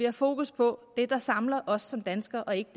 har fokus på det der samler os som danskere og ikke